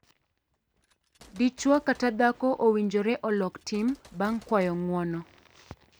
Dichwo kata dhako owinjore olok tim bang' kwayo ng'uono.